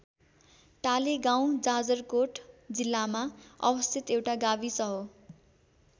टालेगाउँ जाजरकोट जिल्लामा अवस्थित एउटा गाविस हो।